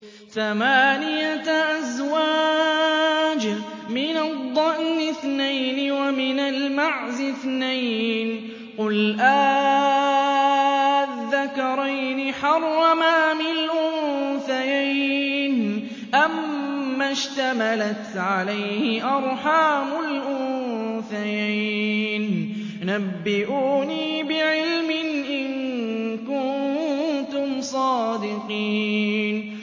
ثَمَانِيَةَ أَزْوَاجٍ ۖ مِّنَ الضَّأْنِ اثْنَيْنِ وَمِنَ الْمَعْزِ اثْنَيْنِ ۗ قُلْ آلذَّكَرَيْنِ حَرَّمَ أَمِ الْأُنثَيَيْنِ أَمَّا اشْتَمَلَتْ عَلَيْهِ أَرْحَامُ الْأُنثَيَيْنِ ۖ نَبِّئُونِي بِعِلْمٍ إِن كُنتُمْ صَادِقِينَ